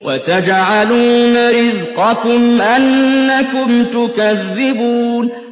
وَتَجْعَلُونَ رِزْقَكُمْ أَنَّكُمْ تُكَذِّبُونَ